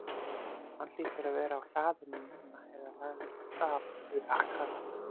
Hann hlýtur að vera á hlaðinu núna- eða lagður af stað yfir akrana.